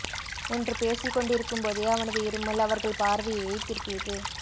என்று பேசிக் கொண்டிருக்கும் போதே அவனது இருமல் அவர்கள் பார்வையை திருப்பியது